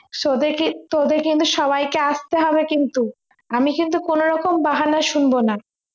তোদেরকে তোদের কিন্তু সবাইকে আসতে হবে কিন্তু আমি কিন্তু কোনরকম বাহানা শুনবো না